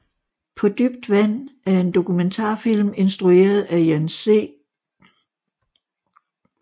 På dybt vand er en dokumentarfilm instrueret af Jan C